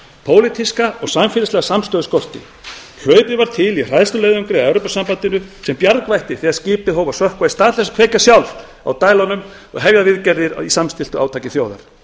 pólitíska og samfélagslega samstöðu skorti hlaupið var til í hræðsluleiðangri að evrópusambandinu sem bjargvætti þegar skipið hóf að sökkva í stað þess að kveikja sjálf á dælunum og hefja viðgerðir í samstilltu átaki þjóðar